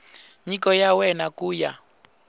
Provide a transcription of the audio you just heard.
nyiko ya wena ku ya